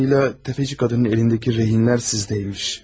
Anladım ki, təfəçi qadının əlindəki rehinlər sizdəymiş.